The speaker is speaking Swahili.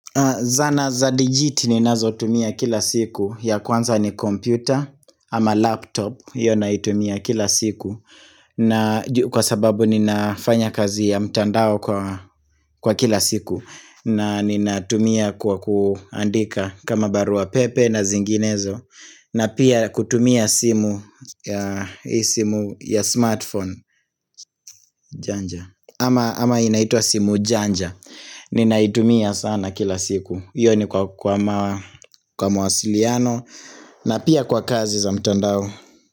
Zana za digiti ninazotumia kila siku ya kwanza ni kompyuta ama laptop iyo naitumia kila siku na juu kwa sababu ninafanya kazi ya mtandao kwa kila siku na ninatumia kwa kuandika kama barua pepe na zinginezo na pia kutumia simu hii simu ya smartphone janja ama inaitwa simu janja Ninaitumia sana kila siku iyo ni kwa kwa mawasiliano na pia kwa kazi za mtandao.